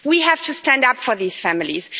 We have to stand up for these families.